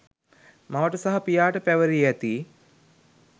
මවට සහ පියාට පැවරී ඇති